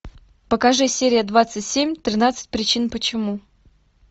покажи серия двадцать семь тринадцать причин почему